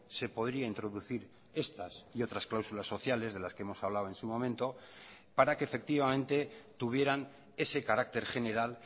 se podría introducir estas y otras cláusulas sociales de las que hemos hablado en su momento para que efectivamente tuvieran ese carácter general